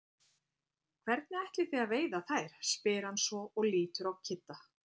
Hvernig ætlið þið að veiða þær? spyr hann svo og lítur á Kidda.